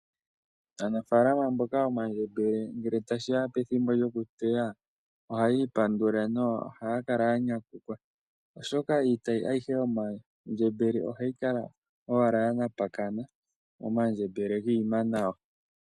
Aanafaalama mboka yomandjembele ngele tashiya pethimbo lyokuteya , ohaya ipandula na ohaya kala ya nyanyukwa , oshoka iitayi ayihe yomandjembele ohayi kal ya napakana omandjembele giima nawa.